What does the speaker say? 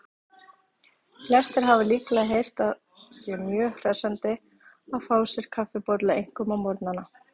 Flestir hafa líklega heyrt að sé mjög hressandi að fá sér kaffibolla, einkum á morgnana.